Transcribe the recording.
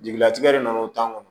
Jigilatigɛ de nana o tɔn kɔnɔ